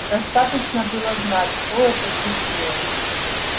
достаточно было знать что это случилось